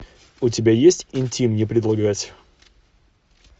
у тебя есть интим не предлагать